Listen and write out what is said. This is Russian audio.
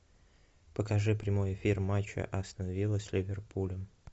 покажи прямой эфир матча астон вилла с ливерпулем